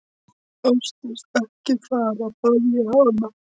Ásdís, ekki fara, bað ég hana.